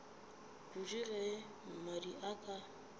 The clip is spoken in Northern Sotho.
kudu ge mmadi a ka